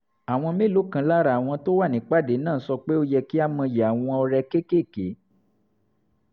àwọn mélòó kan lára àwọn tó wà nípàdé náà sọ pé ó yẹ kí a mọyì àwọn ọrẹ kéékèèké